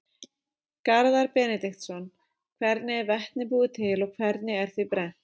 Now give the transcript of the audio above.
Garðar Benediktsson: Hvernig er vetni búið til og hvernig er því brennt?